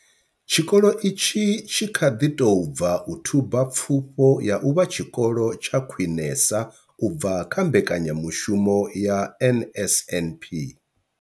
Tshikolo itshi tshi kha ḓi tou bva u thuba Pfufho ya u vha Tshikolo tsha Khwinesa u bva kha mbekanya mushumo ya NSNP.